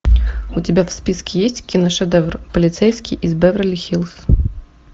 у тебя в списке есть киношедевр полицейский из беверли хиллз